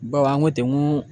Bawo an ko ten n ko